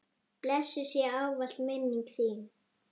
Blessuð sé ávallt minning þín.